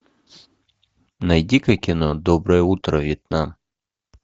найди ка кино доброе утро вьетнам